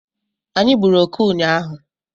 Anyị gburu oke ụnyaahụ